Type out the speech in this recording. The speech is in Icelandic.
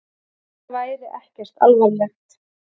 Þetta væri ekkert alvarlegt.